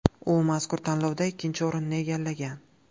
U mazkur tanlovda ikkinchi o‘rinni egallagan.